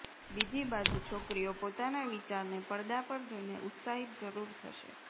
બીજી બાજુ છોકરીઓ પોતાના વિચારને પડદાં પર જોઈને ઉત્સાહિત જરૂર થશે